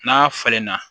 N'a falenna